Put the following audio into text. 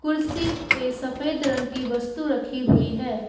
कुर्सी पे सफेद रंग की वस्तु रखी हुई है।